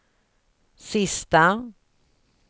sista